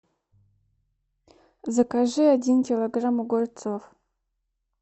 закажи один килограмм огурцов